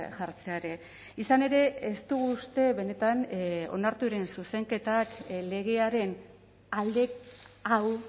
jartzea ere izan ere ez dugu uste benetan onartu diren zuzenketak legearen alde hau